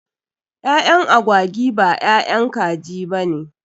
Ƴaƴan agwagi b ƴaƴan kaji bane.